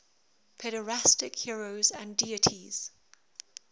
pederastic heroes and deities